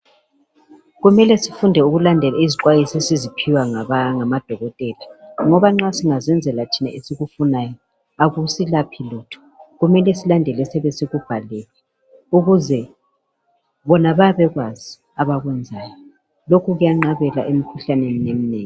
kuqakathekile ukuthi silandele zixwayiso esizinikwa ngodokotela ngoba nxa singayenza esikufunayo akusilaphi lutho kumele silandele esiyabe sikubhalelwe ngoba bona bayabe bekwazi abakwenzayo lokhu kuyanqabela emikhuhlane eminengi